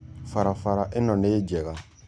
Barabara ĩno nĩ njega.